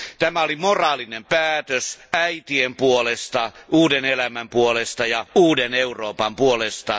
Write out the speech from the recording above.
Tämä oli moraalinen päätös äitien puolesta, uuden elämän puolesta ja uuden Euroopan puolesta.